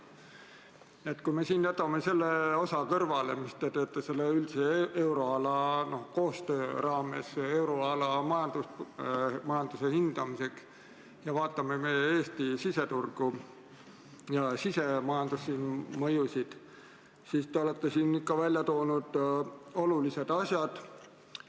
Kui jätame siin kõrvale selle osa, mis te tõite välja üldise euroala koostöö raames, euroala majanduse hindamiseks, ning vaatame meie Eesti siseturgu ja sisemajanduse mõjusid, siis näeme, et te olete siin välja toonud olulisi asju.